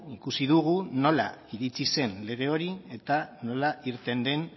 ikusi dugu nola iritsi zen lege hori eta nola irten den